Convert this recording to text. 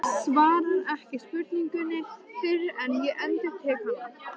Svarar ekki spurningunni fyrr en ég endurtek hana.